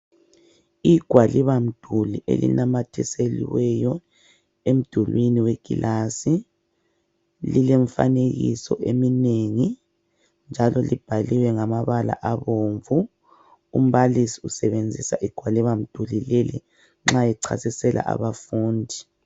Igwalibamduli elinamathiselweyo emdulwini wekilasi lilemfanekiso eminengi njalo libhaliwe ngamabala abomvu. Umbalisi ulisebenzisa nxa echasisela abafundi.